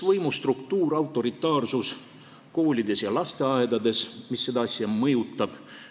Võimustruktuur, autoritaarsus koolides ja lasteaedades, mis seda asja mõjutab.